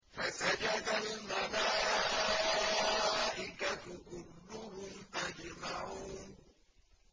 فَسَجَدَ الْمَلَائِكَةُ كُلُّهُمْ أَجْمَعُونَ